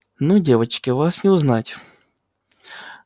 ну девочки вас не узнать